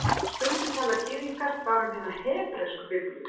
Stundum tala Gyðingar bara um hina hebresku Biblíu